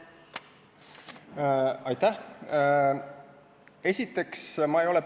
Aitäh!